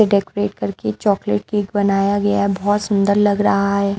Decorate करके chocolate cake बनाया गया है बहुत सुंदर लग रहा है।